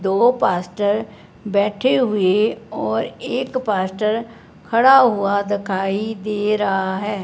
दो पास्टर बैठे हुए और एक पास्टर खड़ा हुआ दिखाई दे रहा है।